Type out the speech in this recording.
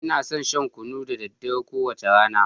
Ina son shan kunu da daddare, kowace rana.